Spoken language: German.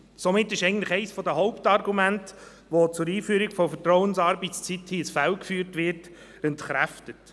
Somit ist eigentlich eines der Hauptargumente, das zugunsten der Einführung der Vertrauensarbeitszeit hier ins Feld geführt wird, entkräftet.